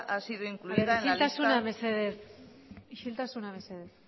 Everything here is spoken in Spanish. ha sido incluida isiltasuna mesedez isiltasuna mesedez